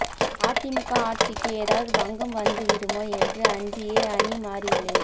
அதிமுக ஆட்சிக்கு ஏதாவது பங்கம் வந்து விடுமோ என்று அஞ்சியே அணி மாறியுள்ளேன்